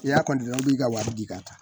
I y'a i b'i ka wari di ka taa